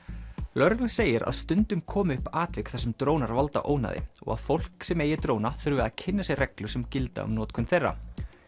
lögreglan segir að stundum komi upp atvik þar sem drónar valda ónæði og að fólk sem eigi dróna þurfi að kynna sér reglur sem gilda um notkun þeirra